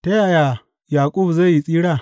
Ta yaya Yaƙub zai tsira?